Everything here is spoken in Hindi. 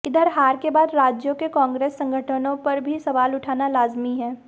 इधर हार के बाद राज्यों के कांग्रेस संगठनों पर भी सवाल उठना लाजिमी है